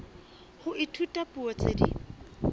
ho ithuta dipuo tse ding